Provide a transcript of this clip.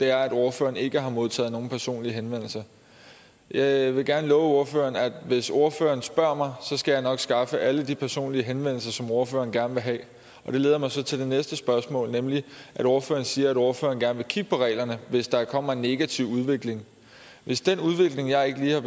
er at ordføreren ikke har modtaget nogen personlige henvendelser jeg vil gerne love ordføreren at hvis ordføreren spørger mig skal jeg nok skaffe alle de personlige henvendelser som ordføreren gerne vil have og det leder mig så til det næste spørgsmål nemlig at ordføreren siger at ordføreren gerne vil kigge på reglerne hvis der kommer en negativ udvikling hvis den udvikling jeg lige har